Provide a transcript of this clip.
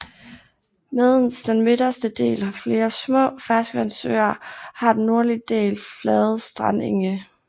Medens den midterste del har flere små ferskvandssøer har den nordlige del flade strandenge